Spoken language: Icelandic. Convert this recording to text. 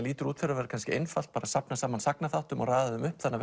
lítur út fyrir að vera einfalt að safna saman sagnaþáttum og raða upp þannig